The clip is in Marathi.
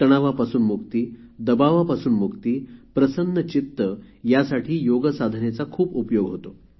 तणावापासून मुक्ती दबावापासून मुक्ती प्रसन्न चित्त यासाठी योगसाधनेचा खूप उपयोग होतो